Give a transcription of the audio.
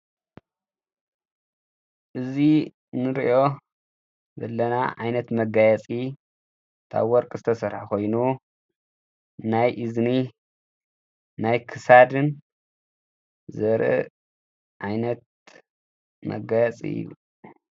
እዙ ንርእዮ ዘለና ዓይነት መጋያጺ ታብ ወርቂ ዝተሠራ ኾይኑ ናይ እዝኒ ናይ ክሳድን ዘር ዓይነት መጋያፂ እዩ።